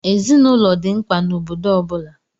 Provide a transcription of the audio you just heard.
Ezinaụlọ dị mkpa n'obodo ọ bụla.